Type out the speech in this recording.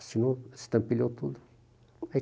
Assinou, estampilhou tudo.